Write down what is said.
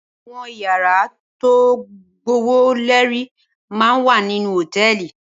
Awòn iyàrá tó gbówóléri má n wá ninú hótèlí